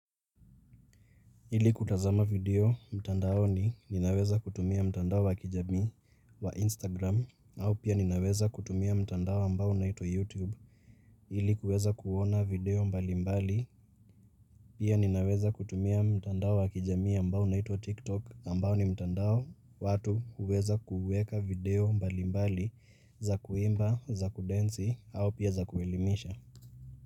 Ili kutazama video mtandaoni ninaweza kutumia mtandao wakijamii wa Instagram au pia ninaweza kutumia mtandao ambao unaitwa YouTube ili kuweza kuona video mbali mbali pia ninaweza kutumia mtandao wakijamii ambao unaitwa TikTok ambao ni mtandao watu uweza kuweka video mbali mbali za kuimba za kudensi au pia za kuelimisha.